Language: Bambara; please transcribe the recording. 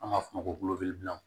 An b'a f'o ma ko